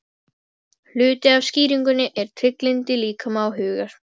Hluti af skýringunni er trygglyndi líkama og hugar.